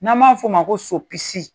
N'an ma f'o ma ko sopisi.